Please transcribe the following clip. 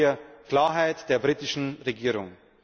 Da brauchen wir Klarheit der britischen Regierung.